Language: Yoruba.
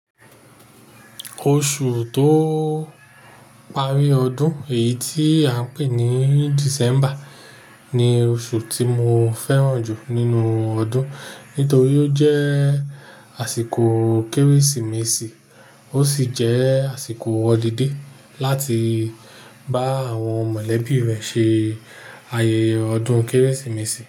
Oṣù tó parí ọdún, èyí tí a ń pè ní December ni oṣù tí mo fẹ́ràn jù nínú ọdún. Nítorí ó jẹ́ àsìkò Kérésìmesì, ó sì jẹ́ àsìkò holiday láti bá àwọn mọ̀lẹ́bí rẹ ṣe ayẹyẹ ọdún Kérésìmesì.